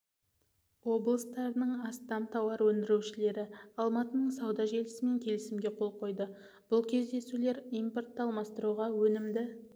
облыстарының астам тауар өндірушілері алматының сауда желісімен келісімге қол қойды бұл кездесулер импортты алмастыруға өнімді